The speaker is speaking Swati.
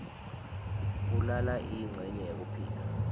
kulala yincenye yekuphila